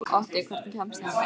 Otti, hvernig kemst ég þangað?